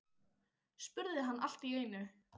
spurði hann allt í einu.